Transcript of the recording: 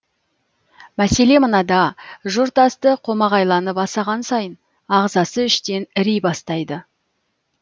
мәселе мынада жұрт асты қомағайланып асаған сайын ағзасы іштен іри бастайды